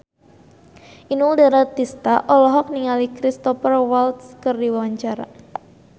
Inul Daratista olohok ningali Cristhoper Waltz keur diwawancara